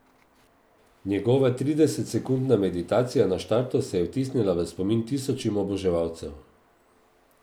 Njegova tridesetsekundna meditacija na štartu se je vtisnila v spomin tisočim oboževalcev.